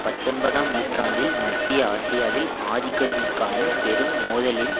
பத்தொன்பதாம் நூற்றாண்டில் மத்திய ஆசியாவில் ஆதிக்கத்திற்கான பெரும் மோதலில்